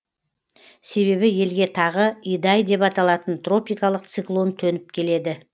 себебі елге тағы идай деп аталатын тропикалық циклон төніп келеді